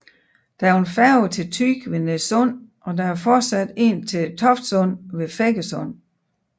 Der er en færge til Thy ved Nees Sund og der er fortsat en til Toftsund ved Feggesund